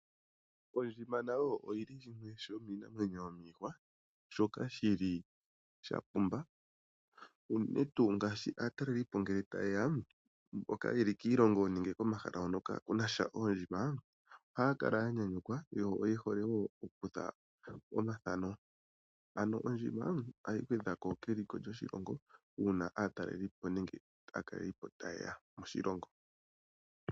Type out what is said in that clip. Ondjima nayo oyi li shimwe shomiinamwenyo yomiihwa shono sha pumba unene tuu ngele aatalelipo taye ya mboka ye li kiilongo nenge komahala hoka kaaku na oondjima ohaya kala ya nyanyukwa, yo ye hole wo okukutha omathano. Ano ondjima ohayi gwedha ko keliko lyoshilongo uuna aatalelipo taye ya moshilongo.